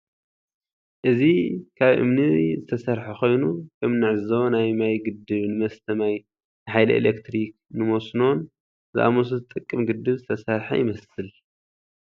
እዚ ካብ እምኒ ዝተሰርሓ ዝተሰርሓ ኮይኑ ከም እንዕዘቦ ናይ ማይ ግድብ ንመስተ ማይ፣ ንሓይሊ ኤሌትሪክ፣ ንመስኖን ዝኣምሰሉ ዝጠቅም ግድብ ዝተሰርሓ ይመስል።